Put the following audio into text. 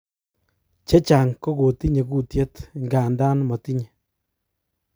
Chechang kokotinye kutyet, ingandan motinye.